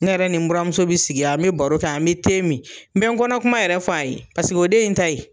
Ne yɛrɛ ni n baramuso bi sigi an bi baro kɛ an bi te min n bɛ n kɔnɔ kuma yɛrɛ fɔ a ye paseke o de ye n ta ye.